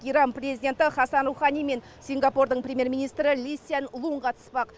иран президенті хасан рухани мен сингапурдың премьер министрі ли сянь лун қатыспақ